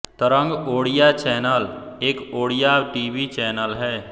तरंग ओड़िया चैनल एक Odia TV channel है